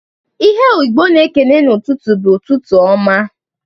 Ihe Igbo na-ekene n'ụtụtụ bụ, "Ụtụtụ ọma!".